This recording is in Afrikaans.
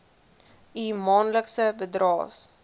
u maandelikse bydraes